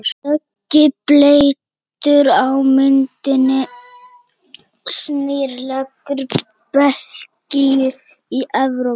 Dökki bletturinn á myndinni sýnir legu Belgíu í Evrópu.